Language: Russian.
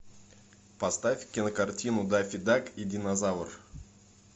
поставь кинокартину даффи дак и динозавр